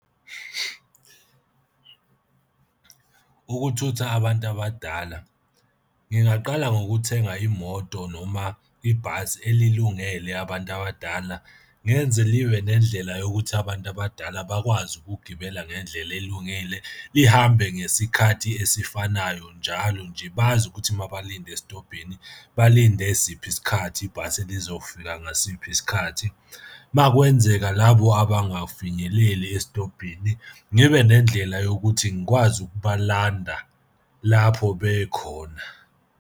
Ukuthutha abantu abadala. Ngingaqala ngokuthenga imoto noma ibhasi elilungele abantu abadala, ngenze libe nendlela yokuthi abantu abadala bakwazi ukugibela ngendlela elungile lihambe ngesikhathi esifanayo njalo nje. Bazi ukuthi uma balinde esitobhini, balinde siphi isikhathi ibhasi lizofika ngasiphi isikhathi. Uma kwenzeka labo abangafinyeleli esitobhini ngibe nendlela yokuthi ngikwazi ukubalanda lapho bekhona.